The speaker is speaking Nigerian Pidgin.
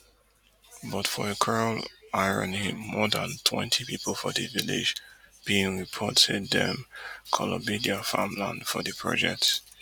but for a cruel irony more dan twenty pipo for di village bin report say dem kolobi dia farmland for di projects